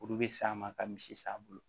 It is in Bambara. Kuru be san ma ka misi san bolo